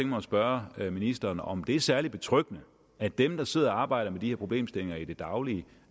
mig at spørge ministeren om det er særlig betryggende at dem der sidder og arbejder med de her problemstillinger i det daglige